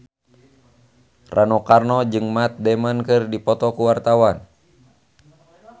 Rano Karno jeung Matt Damon keur dipoto ku wartawan